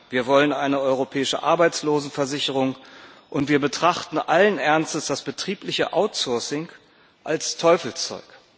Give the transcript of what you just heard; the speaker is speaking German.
Wir wollen eine europäische Arbeitslosenversicherung, und wir betrachten allen Ernstes das betriebliche Outsourcing als Teufelszeug.